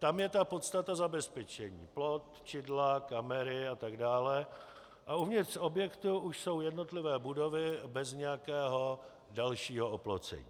Tam je ta podstata zabezpečení, plot, čidla, kamery a tak dále, a uvnitř objektu už jsou jednotlivé budovy bez nějakého dalšího oplocení.